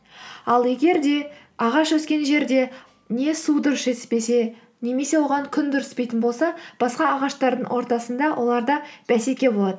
ал егер де ағаш өскен жерде не су дұрыс жетіспесе немесе оған күн дұрыс түспейтін болса басқа ағаштардың ортасында оларда бәсеке болады